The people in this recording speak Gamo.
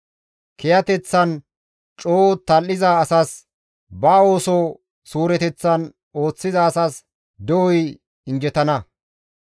Kiyateththan coo tal7iza asas, ba ooso suureteththan ooththiza asas de7oy injjetana.